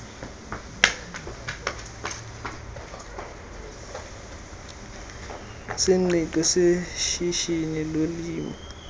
sengqiqo seshishini lolimo